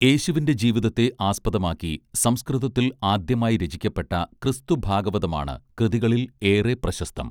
യേശുവിന്റെ ജീവിതത്തെ ആസ്പദമാക്കി സംസ്കൃതത്തിൽ ആദ്യമായി രചിക്കപ്പെട്ട ക്രിസ്തുഭാഗവതമാണ് കൃതികളിൽ ഏറെ പ്രശസ്തം